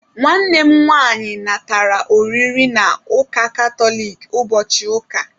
Nwanne m nwaanyị natara oriri na ụka katoliki ụbọchị ụka.